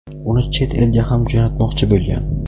uni chet elga ham jo‘natmoqchi bo‘lgan.